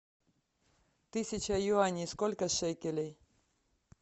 тысяча юаней сколько шекелей